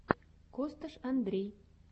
косташ андрей